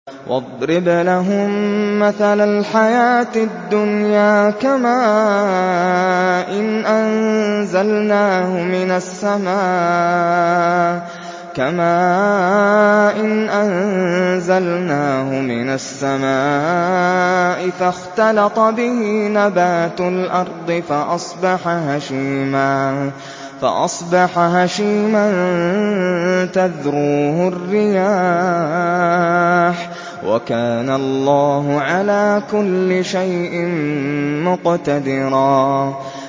وَاضْرِبْ لَهُم مَّثَلَ الْحَيَاةِ الدُّنْيَا كَمَاءٍ أَنزَلْنَاهُ مِنَ السَّمَاءِ فَاخْتَلَطَ بِهِ نَبَاتُ الْأَرْضِ فَأَصْبَحَ هَشِيمًا تَذْرُوهُ الرِّيَاحُ ۗ وَكَانَ اللَّهُ عَلَىٰ كُلِّ شَيْءٍ مُّقْتَدِرًا